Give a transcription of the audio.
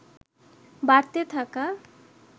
বাড়তে থাকা